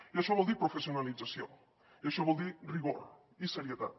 i això vol dir professionalització i això vol dir rigor i serietat